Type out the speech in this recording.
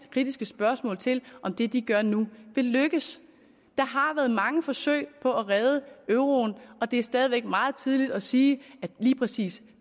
kritiske spørgsmål til om det de gør nu vil lykkes der har været mange forsøg på at redde euroen og det er stadig væk meget tidligt at sige at lige præcis